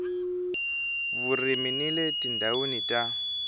vurimi ni le tindhawini ta